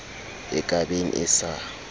e ka beng e sa